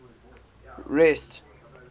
rest